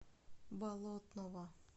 болотного